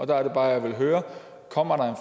der er det bare jeg vil høre kommer